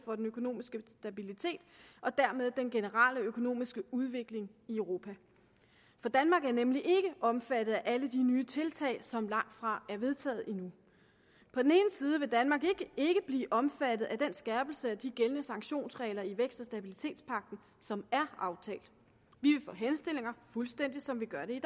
for den økonomiske stabilitet og dermed den generelle økonomiske udvikling i europa danmark er nemlig ikke omfattet af alle de nye tiltag som langtfra er vedtaget endnu på den ene side vil danmark ikke blive omfattet af den skærpelse af de gældende sanktionsregler i vækst og stabilitetspagten som er aftalt vi vil få henstillinger fuldstændig som vi gør det